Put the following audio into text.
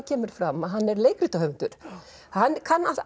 kemur fram að hann er leikritahöfundur hann